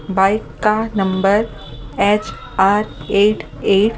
bike का number H R eight eight --